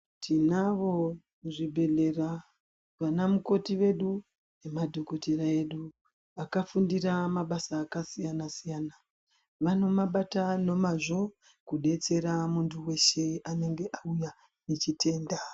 Tinavo muzvibhedhlera vanamukoti vedu, nemadhokotera edu, akafundira mabasa akasiyana-siyana. Vanomabata nomazvo, kudetserwa muntu weshe anenge auya nechitenda.